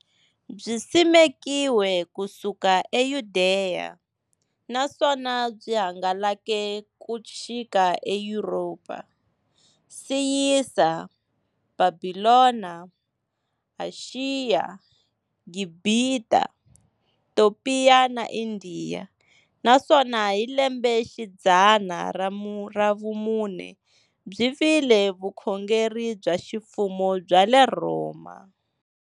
Byisimekiwe ku suka e Yudeya, naswona byi hangalake ku xika e Yuropa, Siriya, Bhabhilona, Ashiya, Gibhita, Topiya na Indiya, naswona hi lembexidzana ra vumune byi vile vukhongeri bya ximfumo bya le Rhoma.